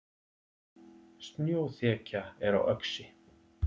Snjóþekja er á Öxi